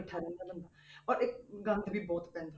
ਬੈਠਾ ਰਹਿੰਦਾ ਬੰਦਾ ਔਰ ਇੱਕ ਗੰਦ ਵੀ ਬਹੁਤ ਪੈਂਦਾ।